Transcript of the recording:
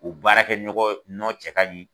U baara kɛ ɲɔgɔn nɔ cɛ ka ɲi